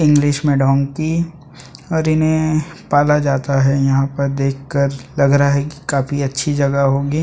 English में donkey और इन्हें पाला जाता है यहाँ पर देखकर लग रहा है की काफी अच्छी जगह होगी ।